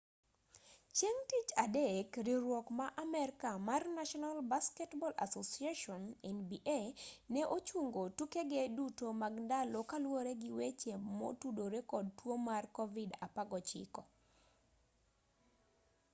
chieng' tich adek riwruok ma amerka mar national basketball association nba ne ochungo tukege duto mag ndalo kaluwore gi weche motudore kod tuo mar covid-19